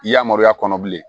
I yamaruya kɔnɔ bilen